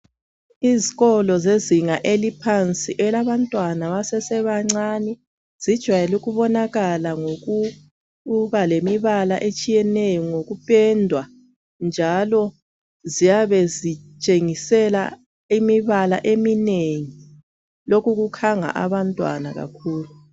Izikolo zezinga eliphansi elabantwana basesebancani zijwayele ukubonakala ngokuba lemibala etshiyeneyo ngokupendwa njalo ziyabe zitshengisela imibala eminengi lokhu kukhanga abantwana kakhulu.